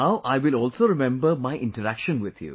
Now I will also remember my interaction with you